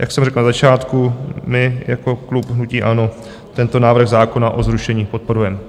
Jak jsem řekl na začátku, my jako klub hnutí ANO tento návrh zákona o zrušení podporujeme.